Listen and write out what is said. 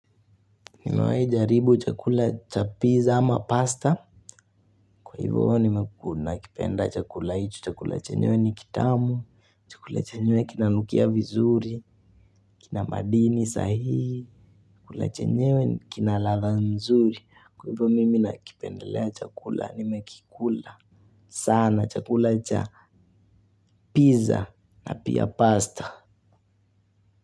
Nimewahi jaribu chakula cha pizza ama pasta. Kwa hivyo nime nakipenda chakula icho. Chakula chenyewe ni kitamu. Chakula chenyewe kina nukia vizuri. Kina madini sahihi. Chakula chenyewe kina ladha nzuri. Kwa hivyo mimi nakipendelea chakula. Nimekikula sana chakula cha pizza na pia pasta.